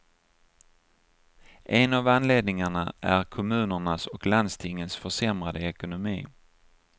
En av anledningarna är kommunernas och landstingens försämrade ekonomi.